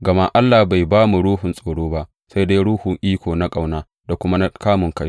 Gama Allah bai ba mu ruhun tsoro ba, sai dai ruhun iko, na ƙauna da kuma na kamunkai.